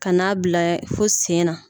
Kana n'a bila fo sen na